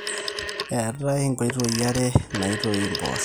eetai inkoitoi are naaitoi impoosho